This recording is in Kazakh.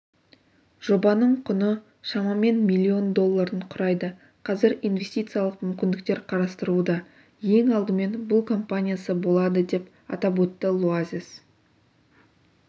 жобаның құны шамамен миллион долларын құрайды қазір инвестициялық мүмкіндіктер қарастырылуда ең алдымен бұл компаниясы болады деп атап өтті луазес